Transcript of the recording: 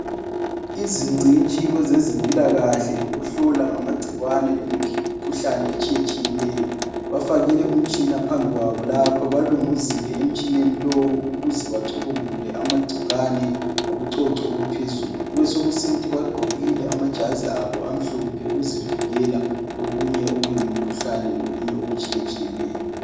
Izingcitshi kwezezimpilakahle lokuhlola ngamagcikwane lemikhuhlane etshiyetshiyeneyo bafakile umtshina phambi kwabo lapha. Balunguzile emtshineni lowu ukuze bacubungule amagcikwane ngobucoco obuphezulu, besokusithi bagqokile amajazi okuzivikela okunye okuyimkhuhlane lokunye okutshiyetshiyeneyo.